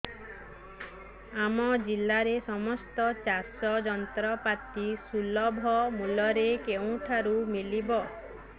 ଆମ ଜିଲ୍ଲାରେ ସମସ୍ତ ଚାଷ ଯନ୍ତ୍ରପାତି ସୁଲଭ ମୁଲ୍ଯରେ କେଉଁଠାରୁ ମିଳିବ